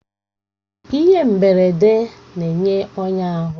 Ihe mgberede na-enye ọnya ahụ